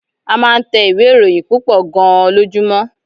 A máa ń tẹ ìwé-ìròyìn púpọ̀ gan-an lójúmọ́.